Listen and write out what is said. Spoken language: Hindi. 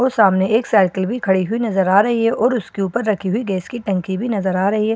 और सामने एक साइकिल भी खड़ी हुई नजर आ रही है और उसके ऊपर रखी हुई गैस की टंकी भी नजर आ रही है।